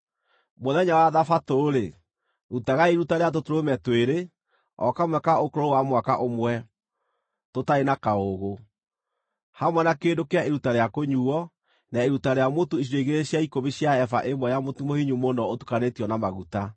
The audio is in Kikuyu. “ ‘Mũthenya wa thabatũ-rĩ, rutagai iruta rĩa tũtũrũme twĩrĩ, o kamwe ka ũkũrũ wa mwaka ũmwe, tũtarĩ na kaũũgũ, hamwe na kĩndũ kĩa iruta rĩa kũnyuuo, na iruta rĩa mũtu icunjĩ igĩrĩ cia ikũmi cia eba ĩmwe ya mũtu mũhinyu mũno ũtukanĩtio na maguta.